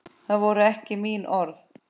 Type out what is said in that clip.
Það voru ekki mín orð